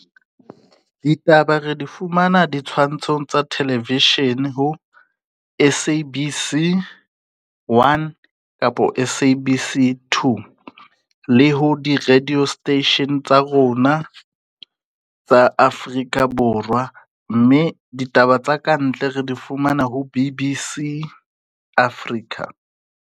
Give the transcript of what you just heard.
Ditaba re di fumana ditshwantshong tsa television, ho S_A_B_C one kapo S_A_B_C two le ho di-radio station tsa rona tsa Afrika Borwa. Mme ditaba tsa ka ntle re di fumana ho B_B_C Africa.